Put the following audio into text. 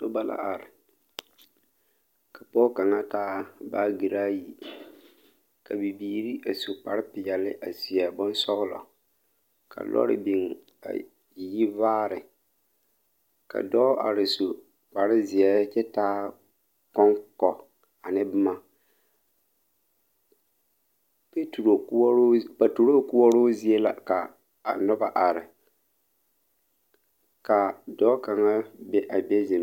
Noba la are ka pɔge kaŋa taa baage. ayi ka bibiiri a su kparepeɛlle a seɛ bonsɔglɔ ka lɔre biŋ a yi vaare ka dɔɔ are su kparezeɛ kyɛ taa kɔŋkɔ ane boma kyɛ petro koɔroo peturo koɔroo zie la ka a noba are ka a dɔɔ kaŋa be a be zeŋ.